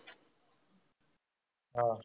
हा.